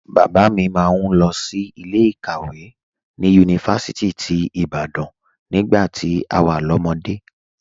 Bàbá mi máa ń lọ sí ilé ìkàwé ní Yunifásítì ti Ibadan nígbà tí a wà lọ́mọde